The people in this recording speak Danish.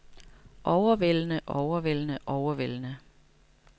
overvældende overvældende overvældende